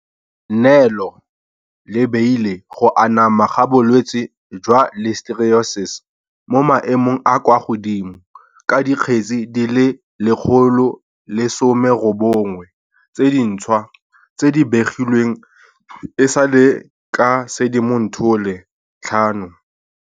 nelo le beile go anama ga bolwetse jwa Listeriosis mo maemong a a kwa godimo, ka dikgetse di le 119 tse dintšhwa tse di begilweng e sale ka Sedimonthole 5.